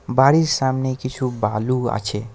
বাড়ির সামনে কিছু বালু আছে।